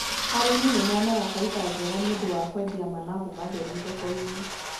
Arĩmi nĩ monaga baita njega nĩ ũndũ wa kũendia managu matheru thoko-inĩ.